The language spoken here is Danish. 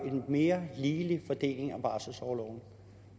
en mere ligelig fordeling af barselsorloven